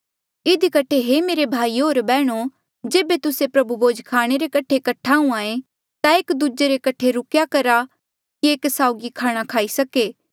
इधी कठे हे मेरे भाइयो होर बैहणो जेबे तुस्से प्रभु भोज खाणे रे कठे कठ्ठा हुंहां ऐें ता एक दूजे रे कठे रुकेया करा कि एक साउगी खाणा खाई सके